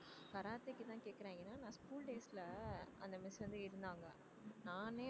கராத்தேக்குத்தான் கேக்கறேன் ஏன்னா நான் school days ல அந்த miss வந்து இருந்தாங்க நானே